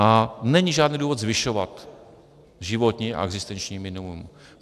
A není žádný důvod zvyšovat životní a existenční minimum.